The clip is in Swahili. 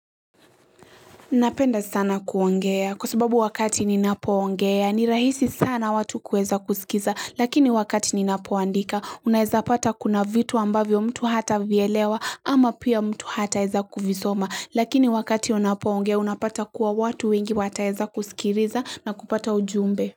Napenda sana kuongea kwa sababu wakati ninapoongea ni rahisi sana watu kuweza kuskiza lakini wakati ninapoandika unaweza pata kuna vitu ambavyo mtu hata vielewa ama pia mtu hata eza kuvisoma lakini wakati unapoongea unapata kuwa watu wengi wataeza kuskiliza na kupata ujumbe.